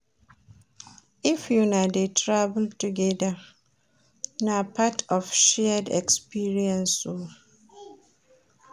If una dey travel togeda, na part of shared experience o.